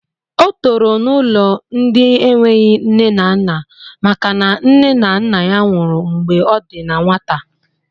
O toro n'ụlọ ndị enweghị nne na nna maka na nne na nna ya nwụrụ mgbe ọ dị na nwata